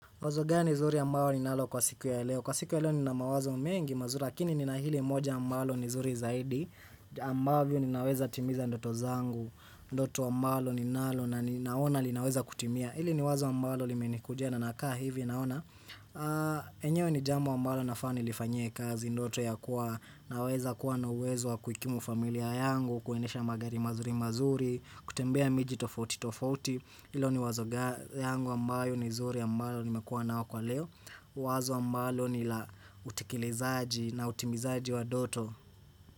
Wazo gani zuri ambayo ninalo kwa siku ya leo. Kwa siku ya leo nina mawazo mengi mazuri lakini nina hili moja ambalo ni zuri zaidi ambayo ninaweza timiza ndoto zangu, ndoto ambalo ninalo na ninaona linaweza kutimia. hIli ni wazo ambalo limenikujia na nakaa hivi naona. Enyewe ni jambo ambalo nafaa nilifanyie kazi. Ndoto ya kuwa naweza kuwa na uwezo wa kuikimu familia yangu, kuendesha magari mazuri mazuri, kutembea miji tofauti tofauti. Ilo ni wazo yangu ambayo ni zuri ambalo nimekuwa nao kwa leo. Wazo ambalo ni la utekelezaji na utimizaji wa ndoto.